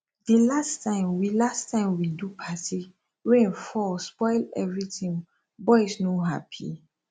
di last time we last time we do party rain fall spoil everything boys no happy